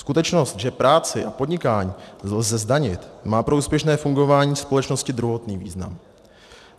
Skutečnost, že práci a podnikání lze zdanit, má pro úspěšné fungování společnosti druhotný význam.